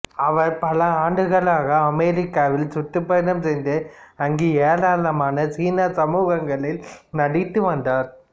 அவர் பல ஆண்டுகளாக அமெரிக்காவில் சுற்றுப்பயணம் செய்து அங்கு ஏராளமான சீன சமூகங்களில் நடித்து வந்தார்